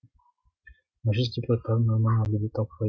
мәжіліс депутаттары норманы әлі де талқылайды